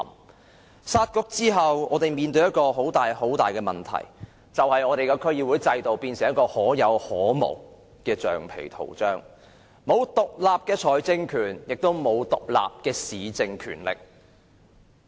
在"殺局"後，我們面對一個很大的問題，便是區議會變成可有可無的橡皮圖章，沒有獨立的財政權，亦沒有獨立的市政權力。